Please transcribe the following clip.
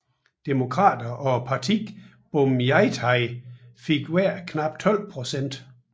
Demokrater og partiet Bhumjaithai fik hver knap 12 procent